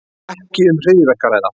Ekki um hryðjuverk að ræða